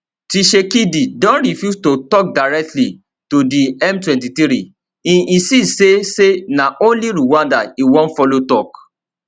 tshisekedi don refuse to tok directly to di m23 e insist say say na only rwanda e wan follow tok